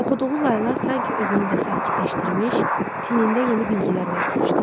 Oxuduğu layla sanki özünü də sakitləşdirmiş, tinində yeni bilgilər oyatmışdı.